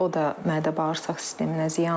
O da mədə-bağırsaq sisteminə ziyandır.